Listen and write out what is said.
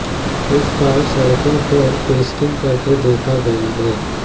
इस बार सड़कों पर टेस्टिंग करते देखा गया है